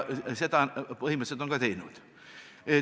Seda on nad põhimõtteliselt ka teinud.